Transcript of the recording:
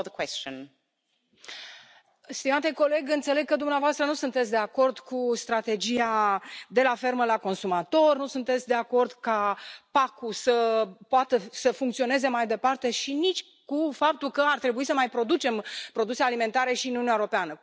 Doamnă președintă, stimate coleg, înțeleg că dumneavoastră nu sunteți de acord cu strategia de la fermă la consumator, nu sunteți de acord ca PAC ul să poată să funcționeze mai departe și nici cu faptul că ar trebui să mai producem produse alimentare și în Uniunea Europeană.